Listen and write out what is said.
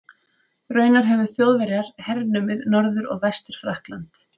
Raunar höfðu Þjóðverjar hernumið Norður- og Vestur-Frakkland.